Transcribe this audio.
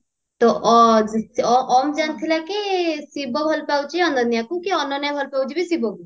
ତ ଆଁ ଓମ ଜାଣିଥିଲା କି ଶିବ ଭଲପାଉଛି ଅନନ୍ୟାକୁ କି ଅନନ୍ୟା ଭଲ ପାଉଛି ବି ଶିବ କୁ